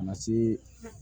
A ma se